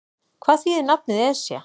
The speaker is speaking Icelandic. Hvað þýðir nafnið Esja?